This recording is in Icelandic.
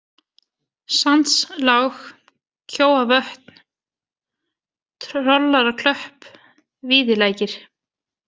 Sandslág, Kjóavötn, Trollaraklöpp, Víðilækir